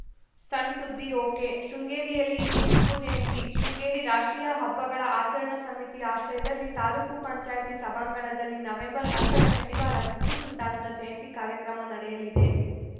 ಸಣ್‌ ಸುದ್ದಿ ಒಕೆಶೃಂಗೇರಿಯಲ್ಲಿ ಇಂದು ಟಿಪ್ಪು ಜಯಂತಿ ಶೃಂಗೇರಿ ರಾಷ್ಟ್ರೀಯ ಹಬ್ಬಗಳ ಆಚರಣಾ ಸಮೀತಿ ಆಶ್ರಯದಲ್ಲಿ ತಾಲೂಕು ಪಂಚಾಯಿತಿ ಸಭಾಂಗಣದಲ್ಲಿ ನವೆಂಬರ್ ಹತ್ತ ರ ಶನಿವಾರ ಟಿಪ್ಪುಸುಲ್ತಾನ್‌ ಜಯಂತಿ ಕಾರ್ಯಕ್ರಮ ನಡೆಯಲಿದೆ